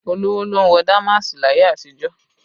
Olówó ló ń wọ damaasi láyé àtijó